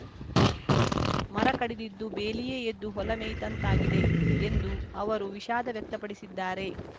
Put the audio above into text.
ಮರ ಕಡಿದಿದ್ದು ಬೇಲಿಯೇ ಎದ್ದು ಹೊಲ ಮೇಯ್ದಂತಾಗಿದೆ ಎಂದು ಅವರು ವಿಷಾದ ವ್ಯಕ್ತಪಡಿಸಿದ್ದಾರೆ